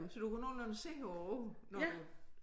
Så du kan nogenlunde se på æ ord når du